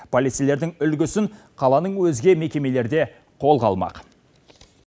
полицейлердің үлгісін қаланың өзге мекемелері де қолға алмақ